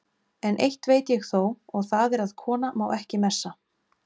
En eitt veit ég þó, og það er að kona má ekki messa.